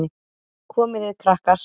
Komið þið, krakkar!